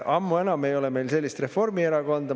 Ammu enam ei ole meil sellist Reformierakonda.